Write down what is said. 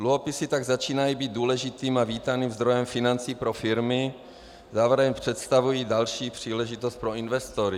Dluhopisy tak začínají být důležitým a vítaným zdrojem financí pro firmy, zároveň představují další příležitost pro investory.